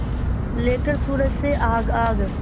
लेकर सूरज से आग आग